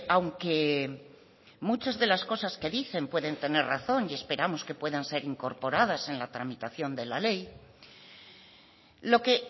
aunque muchas de las cosas que dicen pueden tener razón y esperamos que puedan ser incorporadas en la tramitación de la ley lo que